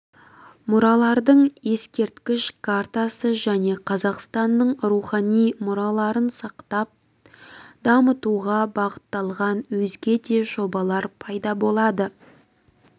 мұралардың ескерткіш картасы және қазақстанның рухани мұраларын сақтап дамытуға бағытталған өзге де жобалар пайда болады